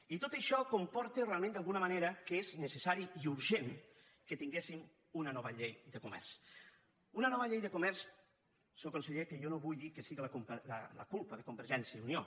i tot això comporta realment d’alguna manera que és necessari i urgent que tinguéssim una nova llei de comerç una nova llei de comerç senyor conseller que jo no vull dir que sigui la culpa de convergència i unió